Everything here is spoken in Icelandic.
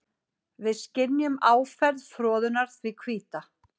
Við skynjum áferð froðunnar því hvíta.